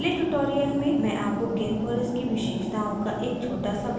इस पहले tutorial में मैं आपको gimp और इसकी विशेषताओं का एक छोटा सा भ्रमण कराना चाहती हूँ